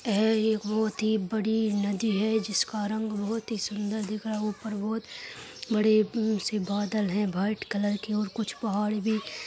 एह एक बहुत ही बड़ी नदी है जिसका रंग बहुत ही सुन्दर दिख रहा ऊपर बहुत बड़े से बादल हैं। वाइट कलर के और कुछ पहाड़ भी --